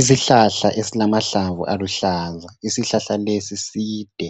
Isihlahla esilamahlamvu aluhlaza isihlahla lesi side